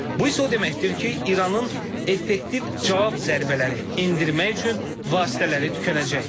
Bu isə o deməkdir ki, İranın effektiv cavab zərbələri endirmək üçün vasitələri tükənəcək.